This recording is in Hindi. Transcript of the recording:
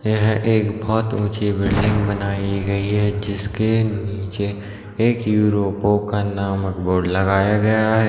यह एक बहुत ऊँची बिल्डिंग बनाई गई हैं जिसके नीचे एक युरोपो का नामक बोर्ड लगाया गया हैं।